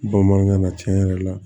Bamanankan na cɛn yɛrɛ la